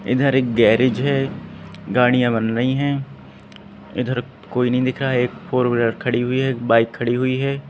इधर एक गैरेज है गाड़ियां बन रही हैं इधर कोई नहीं दिख रहा एक फोर व्हीलर खड़ी हुई है एक बाइक खड़ी हुई है।